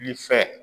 Ni fɛ